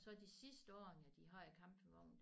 Og så de sidste årene de havde campingvognen